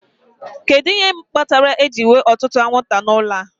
Kedu ihe kpatara ejiri nwee ọtụtụ anwụnta n'ụlọ a?